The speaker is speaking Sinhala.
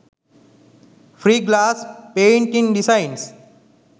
free glass painting designs